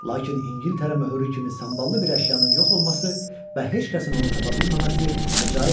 Lakin İngiltərə möhürü kimi samballı bir əşyanın yox olması və heç kəsin onu tapa bilməməsi əcrayibdir.